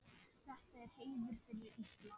Þetta er heiður fyrir Ísland.